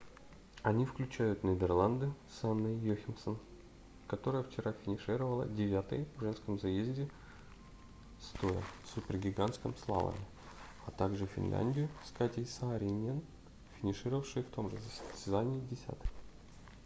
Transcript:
они включают нидерланды с анной йохемсен которая вчера финишировала девятой в женском заезде стоя в супергигантском слаломе а также финляндию с катей сааринен финишировавшей в том же состязании десятой